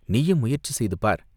நீயும் முயற்சி செய்து பார்!